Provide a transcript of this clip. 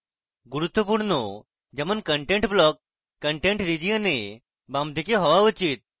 গুরুত্বপূর্ণ যেমন content block content region এ বামদিকে হওয়া উচিত